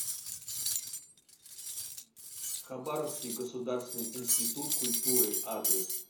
хабаровский государственный институт культуры адрес